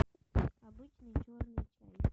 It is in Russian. обычный черный чай